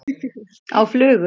Á flugu?